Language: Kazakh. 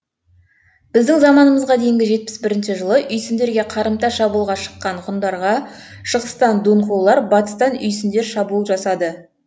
біздің заманымызға дейін жетпіс бірінші жылы үйсіндерге қарымта шабуылға шыққан ғұндарға шығыстан дунхулар батыстан үйсіндер шабуыл жасады